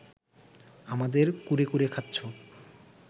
আমাদের কুরে কুরে খাচ্ছ